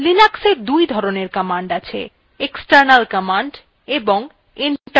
linux দুই ধরনের commands আছে : external command এবং internal command